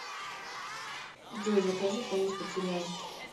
джой закажи поесть под сериал